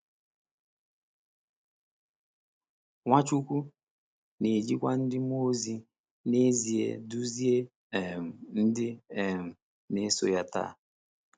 Nwachukwu na-ejikwa ndị mmụọ ozi n’ezie duzie um ndị um na-eso ya taa.